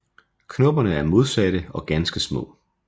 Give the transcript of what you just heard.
Knopperne er modsatte og ganske små